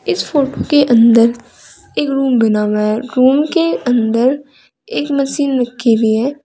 इस फोटो के अंदर एक रूम बना हुआ है रूम के अंदर एक मशीन रखीं हुई है।